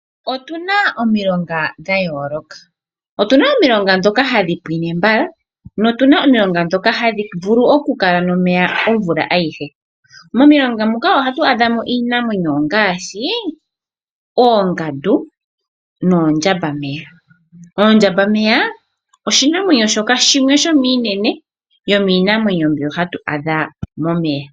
Otuna omilongo dhayooloka. Otuna omilongo ndhoka hadhi pwine mbala notuna omilongo ndhoka hadhi vulu oku kala nomeya omvula ayihe. Momilonga moka ohatu adhamo iinamwenyo ngaashi oongandu noondjambameya . Oondjambameya oshinamwenyo shoka shimwe shomiinene yomiinamwenyo mbyoka hatu adha momeya.